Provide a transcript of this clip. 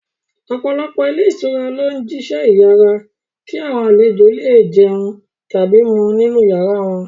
Ọpọ̀lọpọ̀ ilé ìtura ló ń jísẹ́ iyàrá, kí àwọn àlejò lẹ è jẹun tàbí mu nínu yàrá wọn.